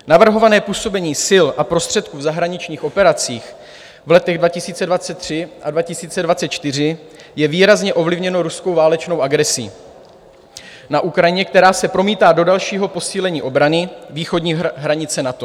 Navrhované působení sil a prostředků v zahraničních operacích v letech 2023 a 2024 je výrazně ovlivněno ruskou válečnou agresí na Ukrajině, která se promítá do dalšího posílení obrany východní hranice NATO.